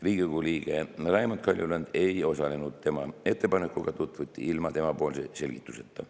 Riigikogu liige Raimond Kaljulaid ei osalenud, tema ettepanekutega tutvuti ilma tema selgituseta.